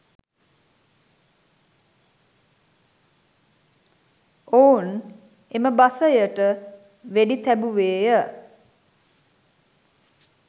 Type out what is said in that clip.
ඔවුන් එම බසයට වෙඩි තැබුවේය.